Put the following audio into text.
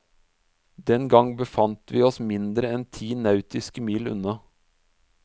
Den gang befant vi oss mindre enn ti nautiske mil unna.